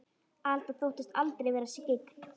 Alda þóttist aldrei vera skyggn.